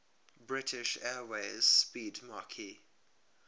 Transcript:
british airways 'speedmarque